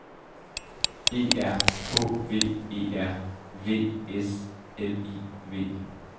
E R H V E R V S L I V